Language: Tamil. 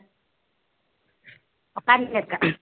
உட்கார்ந்துட்டு இருக்கேன்